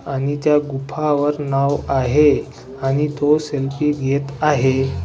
आणि त्या गुफावर नाव आहे आणि तो सेल्फी घेत आहे.